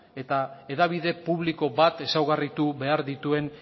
eta hedabide publiko bat ezaugarritu behar dituen